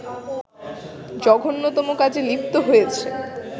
জঘন্যতম কাজে লিপ্ত হয়েছে